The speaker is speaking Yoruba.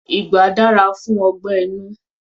Igbà dára fún ọgbẹ́ inú.